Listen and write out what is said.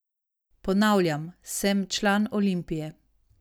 Ponavljam, sem član Olimpije.